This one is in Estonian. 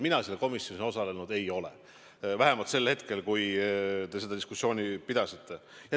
Mina seal komisjonis ei olnud, kui te seda diskussiooni pidasite.